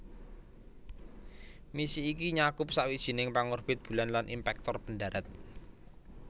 Misi iki nyakup sawijining pangorbit bulan lan impactor pendharat